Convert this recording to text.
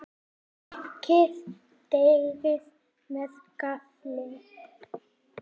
Pikkið deigið með gaffli.